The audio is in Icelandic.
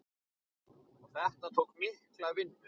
Og þetta tók mikla vinnu.